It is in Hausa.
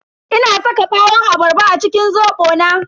Ina saka ɓawon abarba a cikin zobo na.